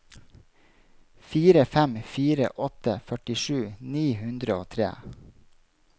fire fem fire åtte førtisju ni hundre og tre